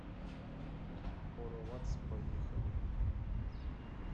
хоровац поехали